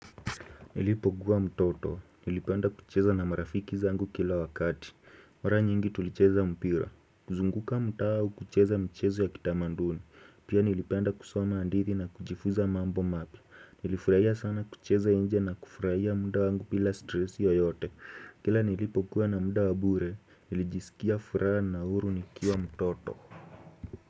Nilipogua mtoto, nilipenda kucheza na marafiki zangu kila wakati. Mara nyingi tulicheza mpira. Kuzunguka mtaa kucheza michezo ya kitamaduni. Pia nilipenda kusoma hadithi na kujifunza mambo mapya. Nilifurahia sana kucheza nje na kufurahia mda wangu bila stress yoyote. Kila nilipokua na mda wa bure, nilijisikia furaha na huru nikiwa mtoto.